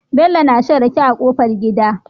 Bello na shan rake a kofar gida